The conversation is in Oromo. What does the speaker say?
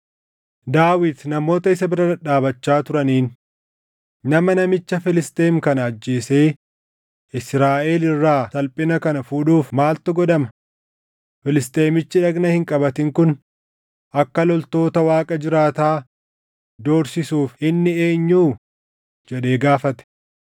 Daawit namoota isa bira dhadhaabachaa turaniin, “Nama namicha Filisxeem kana ajjeesee Israaʼel irraa salphina kana fuudhuuf maaltu godhama? Filisxeemichi dhagna hin qabatin kun akka loltoota Waaqa jiraataa doorsisuuf inni eenyuu?” jedhee gaafate.